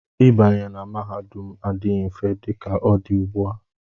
Ịbanye na mahadum adịghị mfe dị ka ọ dị ugbu a.